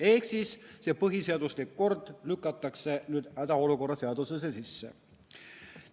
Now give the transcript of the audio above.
Ehk siis see põhiseaduslik kord lükatakse nüüd hädaolukorra seadusesse sisse.